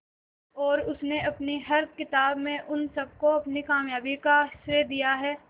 और उसने अपनी हर किताब में उन सबको अपनी कामयाबी का श्रेय दिया है